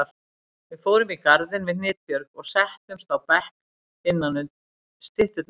Við fórum í garðinn við Hnitbjörg og settumst á bekk innanum stytturnar.